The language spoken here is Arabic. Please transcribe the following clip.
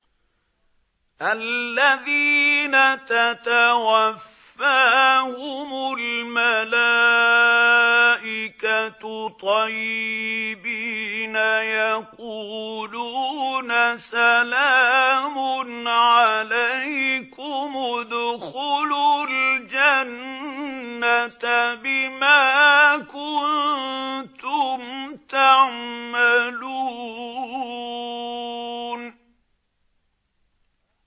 الَّذِينَ تَتَوَفَّاهُمُ الْمَلَائِكَةُ طَيِّبِينَ ۙ يَقُولُونَ سَلَامٌ عَلَيْكُمُ ادْخُلُوا الْجَنَّةَ بِمَا كُنتُمْ تَعْمَلُونَ